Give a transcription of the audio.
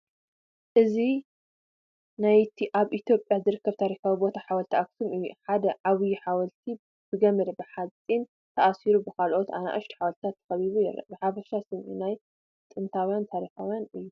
እዚ ናይቲ ኣብ ኢትዮጵያ ዝርከብ ታሪኻዊ ቦታ ሓወልትታት ኣክሱም እዩ። ሓደ ዓብይ ሓወልቲ ብገመድ ሓጺን ተኣሲሩ፡ ብኻልኦት ንኣሽቱ ሓወልትታት ተኸቢቡ ይርአ። ብሓፈሻ ስምዒት ናይ ጥንታውን ታሪኻውን እዩ።